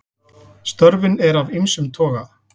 Störfin eru af ýmsum toga.